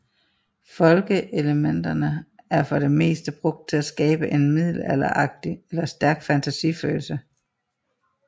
Folke elementerne er for det meste brugt til at skabe en middelalderagtig eller stærk fantasi følelse